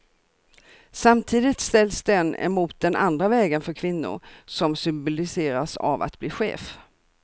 Samtidigt ställs den emot den andra vägen för kvinnor, som symboliseras av att bli chef.